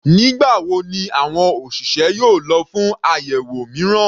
Nígbà wo ni àwọn òṣìṣẹ́ yóò lọ fún àyẹ̀wò mìíràn?